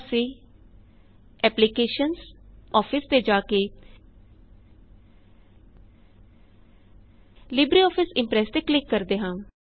ਅਸੀਂ applications gt office ਤੇ ਜਾਕੇ ਲਿਬਰੇਆਫਿਸ ਇਮਪ੍ਰੈਸ ਤੇ ਕਲਿਕ ਕਰਦੇ ਹਾਂ